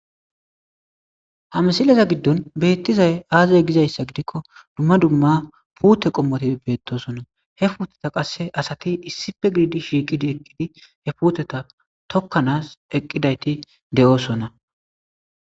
Ha missileza gidon betizay aze gizayisa gidikko dumma dumma pute qomoti betosona he puteta qase asati issipe gididi shiqidi eqidi he puteta tokanas eqidayiti deosona.